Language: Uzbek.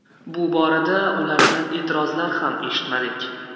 Bu borada ulardan e’tirozlar ham eshitmadik.